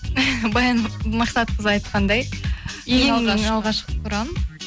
баян мақсатқызы айтқандай ең алғашқы құрам